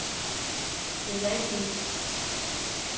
sædvanlige